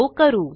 तो करू